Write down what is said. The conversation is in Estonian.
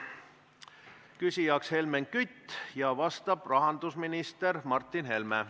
Küsija on Helmen Kütt, vastab rahandusminister Martin Helme.